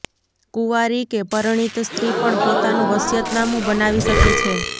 કુંવારી કે પરણિત સ્ત્રી પણ પોતાનું વસિયતનામું બનાવી શકે છે